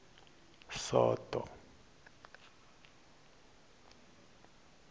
soto